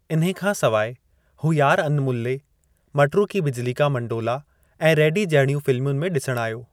इन्हे खां सवाइ, हू यार अन्मुल्ले, मटरू की बिजली का मंडोला ऐं रेडी जहिड़युनि फ़िल्मुनि में ॾिसणु आयो।